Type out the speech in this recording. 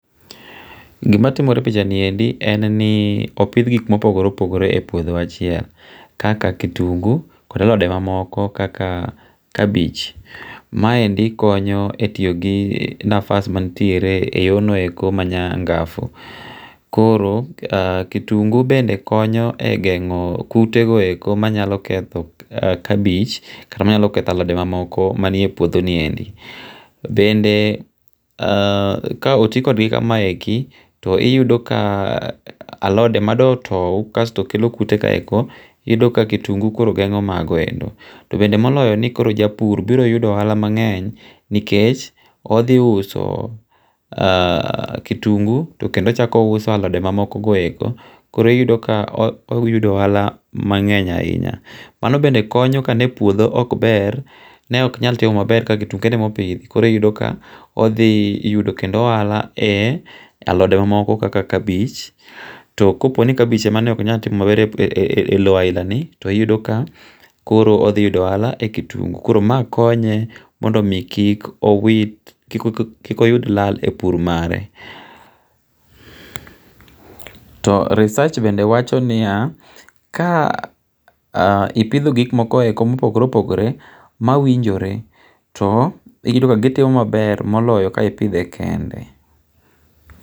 Gimatimore e pichani endi en ni opith gik ma opogore opogore e puoth achiel kaka kitungu koda alode mamoko kaka kabich, maendi konyo e tiyo gi nafas mantiere e yonoeko manyangafu koro kitungu bende konyo e gengo' kutego eko manyalo ketho kabith kta manyalo ketho alode mamoko manie puothoniendi bende haa ka otikodgi kama eki to iyudo kaa alode ma dotou iyudo kasto kelo kute ka eko iyudo ka kitungu koro gengo' mogoendo to bende moloyo ni koro japur biroyudo ohala mange'ny nikech othiuso, kitungu to kendo ochako ouso alode mamoko go eko koro iyudo kaoyudo ohala mange'ny ahinya , mano bende konyo kane puotho ok ber ne ok nyal timo maber ka kitungu kende ema opithi koro iyudo kaothiyudo kendo ohala e alode mamoko kaka kabich, to koponi kabich emane oknyal timo maber e lo ahinani, to hiyudo ka koro othiyudo ohala e kitungu, koro maa konye mondo omi kik owit, kik oyud lal e pur mare. To research bende wachoni ya ka ipitho gik moko ma opogore opogore mawinjore to iyudo ka gitimo maber moloyo ka ipithe kende